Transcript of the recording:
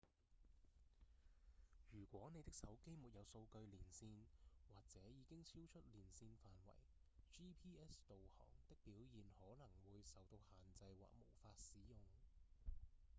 如果你的手機沒有數據連線或者已經超出連線範圍 gps 導航的表現可能會受到限制或無法使用